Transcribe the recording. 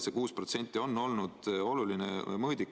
See 6% on olnud oluline mõõdik.